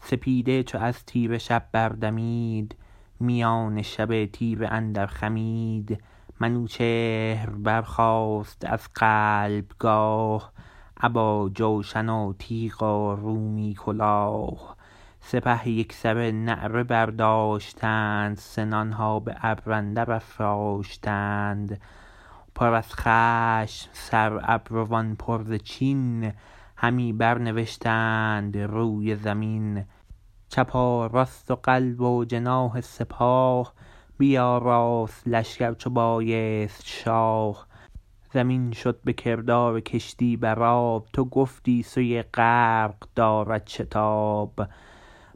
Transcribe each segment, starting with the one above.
سپیده چو از تیره شب بردمید میان شب تیره اندر خمید منوچهر برخاست از قلب گاه ابا جوشن و تیغ و رومی کلاه سپه یکسره نعره برداشتند سنان ها به ابر اندر افراشتند پر از خشم سر ابروان پر ز چین همی بر نوشتند روی زمین چپ و راست و قلب و جناح سپاه بیاراست لشکر چو بایست شاه زمین شد به کردار کشتی بر آب تو گفتی سوی غرق دارد شتاب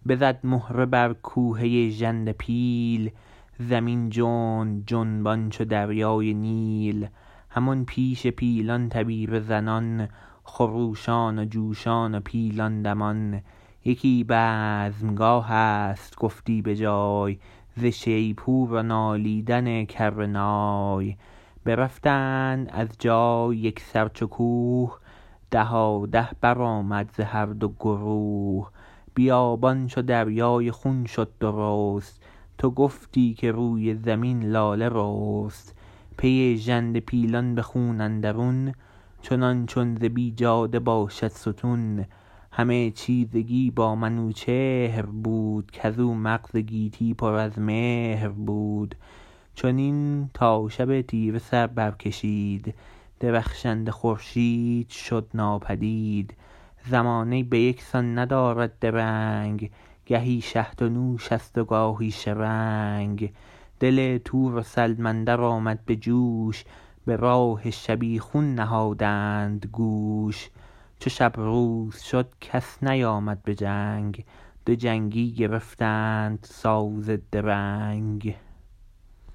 بزد مهره بر کوهه ژنده پیل زمین جنب جنبان چو دریای نیل همان پیش پیلان تبیره زنان خروشان و جوشان و پیلان دمان یکی بزمگاه ست گفتی به جای ز شیپور و نالیدن کره نای برفتند از جای یکسر چو کوه دهاده برآمد ز هر دو گروه بیابان چو دریای خون شد درست تو گفتی که روی زمین لاله رست پی ژنده پیلان به خون اندرون چنان چون ز بیجاده باشد ستون همه چیرگی با منوچهر بود کزو مغز گیتی پر از مهر بود چنین تا شب تیره سر بر کشید درخشنده خورشید شد ناپدید زمانه به یک سان ندارد درنگ گهی شهد و نوش است و گاهی شرنگ دل تور و سلم اندر آمد به جوش به راه شبیخون نهادند گوش چو شب روز شد کس نیامد به جنگ دو جنگی گرفتند ساز درنگ